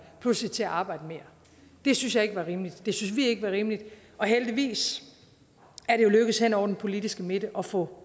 pludselig til at arbejde mere det synes jeg ikke var rimeligt det synes vi ikke var rimeligt og heldigvis er det jo lykkes hen over den politiske midte at få